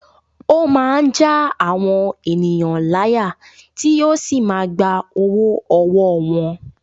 Ó máa ń já àwọn ènìyàn láyà tí yóò sì máa gba owó ọwọ́ wọn.